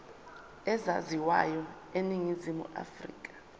ezaziwayo eningizimu afrika